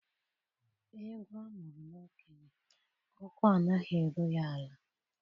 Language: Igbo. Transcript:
Egwu a mụrụ n'okenye, ukwu anaghị eru ya ala.